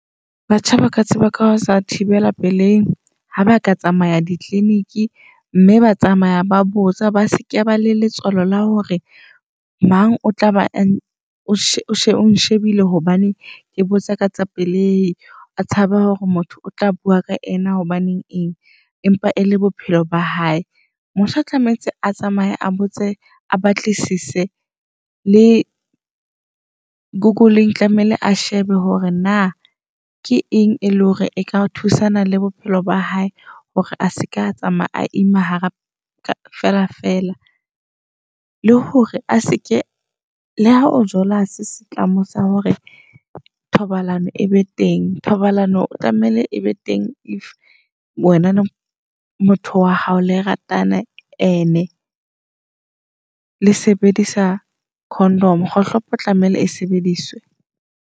Batjha baka tseba ka sa thibela pelei ha ba ka tsamaya di -clinic mme ba tsamaya ba botsa ba sekebe le letswalo la hore mang o tla be a ong shebile hobane ke botsa ka tsa pelei. A tshaba hore motho o tla bua ka ena, hobaneng eng empa e le bophelo ba hae. Motjha tlamehetse a tsamaye, a botse a batlisise le Google-eng tlamehile a shebe hore na ke eng e leng hore e ka thusana le bophelo ba hae. Hore a seka tsamaya a ima hara feela feela, le hore a se ke le ha o jola hase setlamo sa hore thobalano e be teng. Thobalano o tlamehile e be teng if wena le motho wa hao le ratana and-e le sebedisa condom, kgohlopo o tlamehile e sebedise.